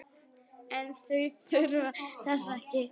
En þau þurfa þess ekki.